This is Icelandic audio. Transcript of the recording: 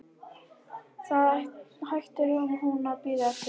Þá hættir hún að bíða eftir honum.